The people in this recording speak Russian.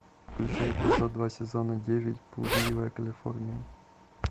включай эпизод два сезона девять блудливая калифорния